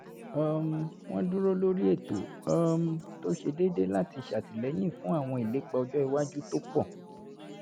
um wọ́n dúró lórí ètò um tó ṣe déédé láti ṣe àtìlẹ́yìn fún àwọn ìlépa ọjọ́ iwájú tó pọ̀